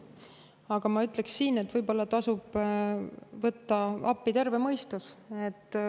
Aga ma ütleks, et võib-olla tasub appi võtta terve mõistus.